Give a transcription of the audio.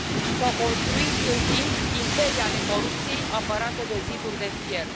S au construit în timp imperii ale corupției, apărate de ziduri de fier.